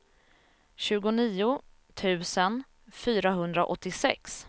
tjugonio tusen fyrahundraåttiosex